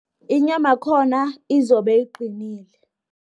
Inyama yakhona, izobe iqinile.